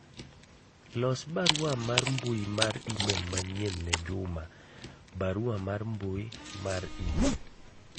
los barua mar mbui mar email manyien ne juma barua mar mbui mar email